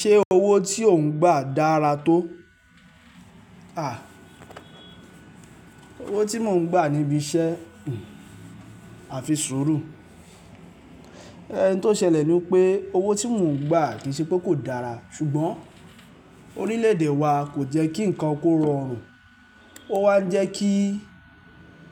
Ṣé owó tí ò ń gbà dára tó? À, owó tí mò ń gbà níbi iṣẹ́ àfisúrù. Ẹ̀hn n tó ṣẹlẹ̀ ní pé owó tí mò ń gbà kì í ṣe pé kò dára, ṣùgbọ́n orílẹ̀ èdè wa kò jẹ́ kí nǹkan kó rọrùn. Ó wa jẹ́ kí,